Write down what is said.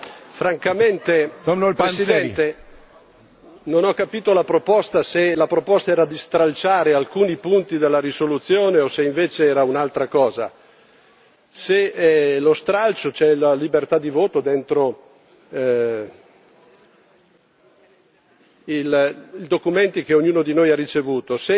Signor Presidente, onorevoli colleghi, francamente non ho capito la proposta se la proposta era di stralciare alcuni punti della risoluzione o se, invece, era un'altra cosa. Se è lo stralcio, c'è la libertà di voto dentro i documenti che ognuno di noi ha ricevuto.